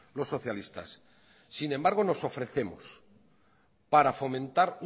los socialistas sin embargo nos ofrecemos para fomentar